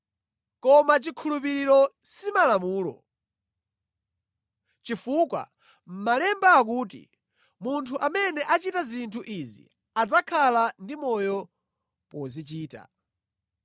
Koma chikhulupiriro si Malamulo, chifukwa Malemba akuti, “Munthu amene achita zinthu izi adzakhala ndi moyo pozichita.”